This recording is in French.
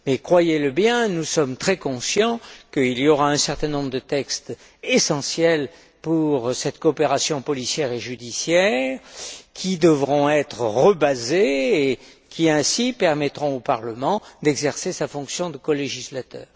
Mais croyez le bien, nous sommes très conscients qu'il y aura un certain nombre de textes essentiels pour cette coopération policière et judiciaire, qui devront trouver une nouvelle base et qui, ainsi, permettront au Parlement d'exercer sa fonction de colégislateur.